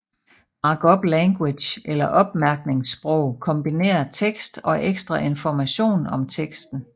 Markup language eller opmærkningssprog kombinerer tekst og ekstra information om teksten